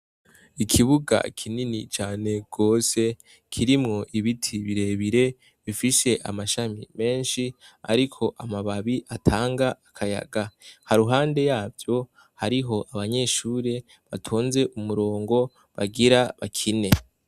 Ikibuga kinini cane gose, kirimw' ibiti birebire bifis' amashami mensh' arik' amabab' atang' akayaga, haruhande yavyo harih' abanyeshure batonz' umurongo bagira bakine.